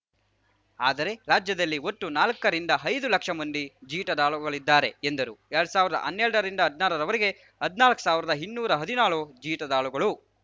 ಆದರೆ ರಾಜ್ಯದಲ್ಲಿ ಒಟ್ಟು ನಾಲಕ್ಕರಿಂದಐದು ಲಕ್ಷ ಮಂದಿ ಜೀತದಾಳುಗಳಿದ್ದಾರೆ ಎಂದರು ಎರಡ್ ಸಾವಿರ್ದಾ ಹನ್ನೆರಡರಿಂದ ಹದ್ನಾರರವರೆಗೆ ಹದ್ನಾಲ್ಕು ಸಾವಿರದಇನ್ನೂರಾ ಹದಿನಾಳು ಜೀತದಾಳುಗಳು